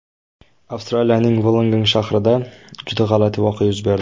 Avstraliyaning Vullongong shahrida juda g‘alati voqea yuz berdi.